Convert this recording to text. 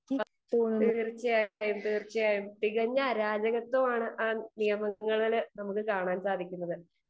speaker 2 തീർച്ചയായും തീർച്ചയായും തികഞ്ഞ അരാജകത്വമാണ് ആ നിയമങ്ങളിൽ നമുക്ക് കാണാൻ സാധിക്കുന്നത്